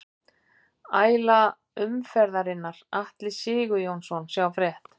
Æla umferðarinnar: Atli Sigurjónsson Sjá frétt